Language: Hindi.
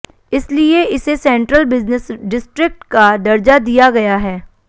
इसलिए इसे सेन्ट्रल बिजनेस डिस्ट्रिक्ट का दर्जा दिया गया है